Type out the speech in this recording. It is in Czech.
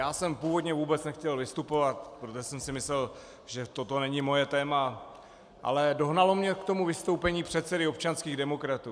Já jsem původně vůbec nechtěl vystupovat, protože jsem si myslel, že toto není moje téma, ale dohnalo mě k tomu vystoupení předsedy občanských demokratů.